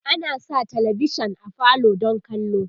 ana Sa talavishan a falo don kallo